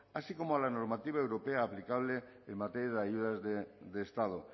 así como a la normativa europea aplicable en materia de ayudas de estado